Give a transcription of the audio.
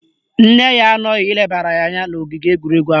Nne ya anọghị ilebara ya anya n'ogige egwuregwu ahụ.